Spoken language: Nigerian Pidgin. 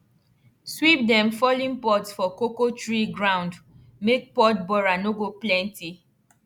sweep dem fallen pods for cocoa tree ground make pod borer no go plenty